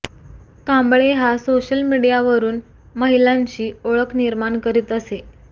कांबळे हा सोशल मीडियावरून महिलांशी ओळख निर्माण करीत असे